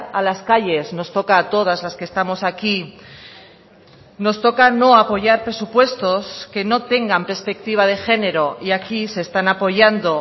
a las calles nos toca a todas las que estamos aquí nos toca no apoyar presupuestos que no tengan perspectiva de género y aquí se están apoyando